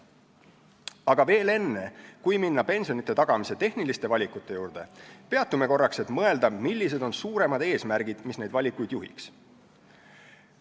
Aga veel enne, kui minna pensionide tagamise tehniliste valikute juurde, peatume korraks, et mõelda, millised on suuremad eesmärgid, mis neid valikuid juhiks.